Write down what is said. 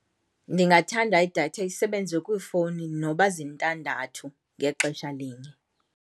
Ndingathanda idatha isebenze kwiifowuni noba zintandathu ngexesha linye.